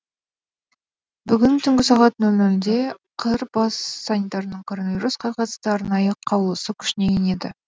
бүгін түнгі сағат нөл нөлде қр бас санитарының коронавирусқа қатысты арнайы қаулысы күшіне енеді